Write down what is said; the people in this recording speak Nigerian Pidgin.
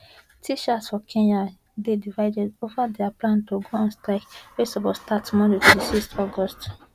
teachers for kenya dey divided ova dia plan to go on strike wey suppose start today monday 26 august